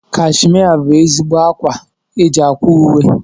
Kashmia bụ ezigbo ákwá eji ákwà uwe.